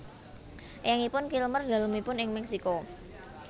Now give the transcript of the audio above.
Eyangipun Kilmer dalemipun ing Meksiko